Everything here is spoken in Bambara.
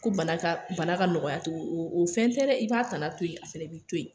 Ko bana ka nɔgɔya tugun o fɛn tɛ dɛ, i b'a tana to yen, a fana b'i to yen.